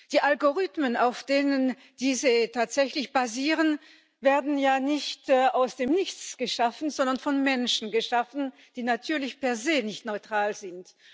Die Algorithmen, auf denen diese tatsächlich basieren, werden ja nicht aus dem Nichts geschaffen, sondern von Menschen geschaffen, die natürlich per se nicht neutral sind.